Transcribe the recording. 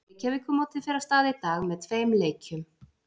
Reykjavíkurmótið fer af stað í dag með tveim leikjum.